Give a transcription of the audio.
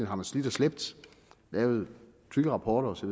har man slidt og slæbt lavet tykke rapporter osv